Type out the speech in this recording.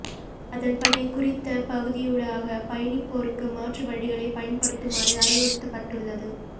அதன் படி குறித்த பகுதியூடாக பயணிப்போருக்கு மாற்று வழிகளை பயன்படுத்துமாறு அறிவுறுத்தப்பட்டுள்ளது